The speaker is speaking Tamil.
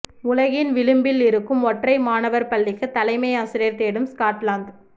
உலகின் விளிம்பில் இருக்கும் ஒற்றை மாணவர் பள்ளிக்கு தலைமை ஆசிரியர் தேடும் ஸ்காட்லாந்து